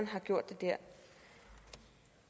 har gjort det der